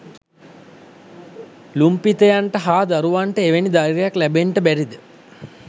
ලුම්පිතයන්ට හා දරුවන්ට එවැනි ධෛර්යයක් ලැබෙන්ට බැරි ද?